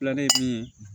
ye min ye